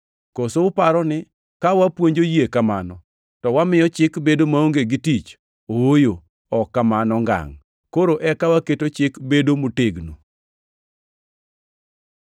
Koso uparo ni ka wapuonjo yie kamano, to wamiyo Chik bedo maonge gi tich? Ooyo, ok kamano ngangʼ! Koro eka waketo Chik bedo motegno.